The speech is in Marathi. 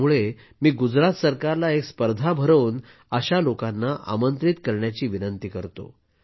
त्यामुळे मी गुजरात सरकारला एक स्पर्धा भरवून अशा लोकांना आमंत्रित करण्याची विनंती करतो